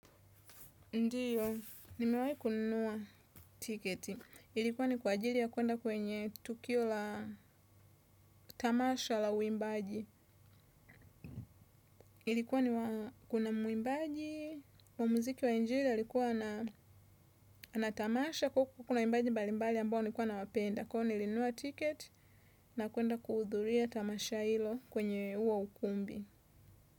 Ndio, nimewahi kununua tiketi. Ilikuwa ni kwa ajili ya kuenda kwenye tukio la tamasha la uimbaji. Ilikuwa ni kuna mwimbaji, wa muziki wa injili alikuwa na tamasha, kwa hiyo kuna waimbaji mbalimbali ambao nilikuwa nawapenda. Kwa hiyo nilinunua ticket na kuenda kuhudhuria tamasha hilo kwenye huo ukumbi.